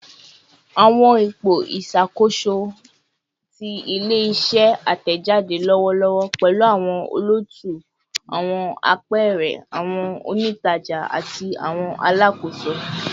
Awọn ipo iṣakoso ti ile-iṣẹ atẹjade lọwọlọwọ pẹlu awọn olootu, awọn apẹẹrẹ, awọn onijaja, ati awọn alakoso